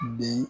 Bi